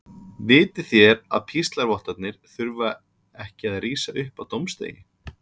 Vitið þér að píslarvottarnir þurfa ekki að rísa upp á dómsdegi?